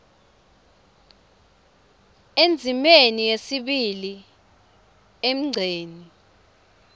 endzimeni yesibili emgceni